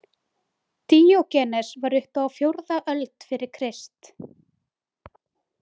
Díógenes var uppi á fjórða öld fyrir Krist.